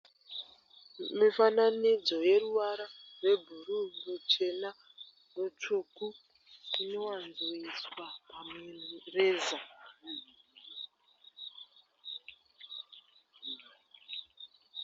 Mufananidzo weruvara rwebhuru ,ruchena ne svuku inowanzoiswa pamureza.